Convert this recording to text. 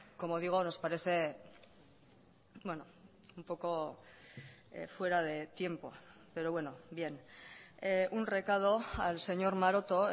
como digo nos parece un poco fuera de tiempo pero bueno bien un recado al señor maroto